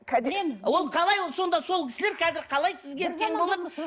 ол қалай ол сонда сол кісілер қазір қалай сізге тең болады